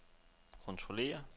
kontrollere